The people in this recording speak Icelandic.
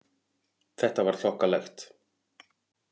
Þetta var þokkalegt.